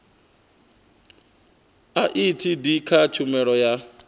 a etd kha tshumelo ya